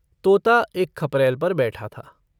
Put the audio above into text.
तोता एक खपरैल पर बैठा था।